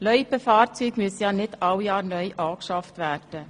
Loipenfahrzeuge müssen ja nicht alle Jahre neu angeschafft werden.